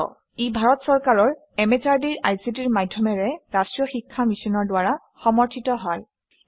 ইয়াক national mission on education through ICT MHRD government of India ই পৃষ্ঠপোষকতা আগবঢ়াইছে